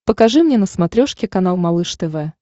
покажи мне на смотрешке канал малыш тв